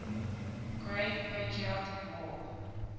great patriotic war